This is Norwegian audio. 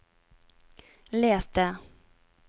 les det